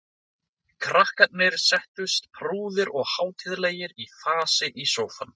Krakkarnir settust prúðir og hátíðlegir í fasi í sófann.